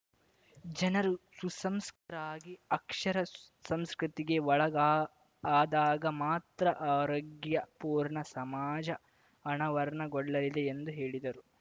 ಜನರು ಸುಸಂಸ್ಕೃತರಾಗಿ ಅಕ್ಷರ ಸಂಸ್ಕೃತಿಗೆ ಒಳಗಾ ಆದಾಗ ಮಾತ್ರ ಆರೋಗ್ಯಪೂರ್ಣ ಸಮಾಜ ಅನಾವರಣಗೊಳ್ಳಲಿದೆ ಎಂದು ಹೇಳಿದರು